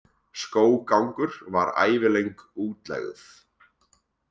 Skóggangur var ævilöng útlegð.